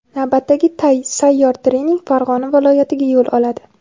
Navbatdagi sayyor trening Farg‘ona viloyatiga yo‘l oladi.